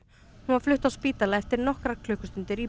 hún var flutt á spítala eftir nokkrar klukkustundir í